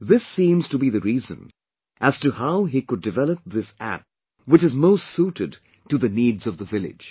This seems to be the reason as to how he could develop this App which is most suited to needs of the village